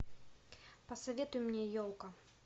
посоветуй мне елка